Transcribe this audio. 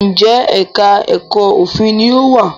Njé èka èko òfin ní o wá?